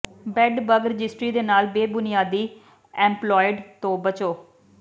bed bug registry ਦੇ ਨਾਲ ਬੇਬੁਨਿਆਦ ਐਂਪਲੌਇਡ ਤੋਂ ਬਚੋ